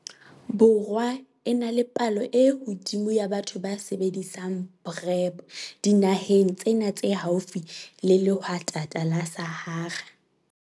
Borwa e na le palo e hodimo ya batho ba sebedisang PrEP dinaheng tsena tse haufi le lehwatata la Sahara.